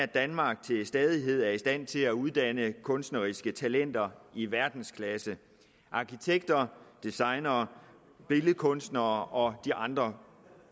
danmark til stadighed er i stand til at uddanne kunstneriske talenter i verdensklasse arkitekter designere billedkunstnere og de andre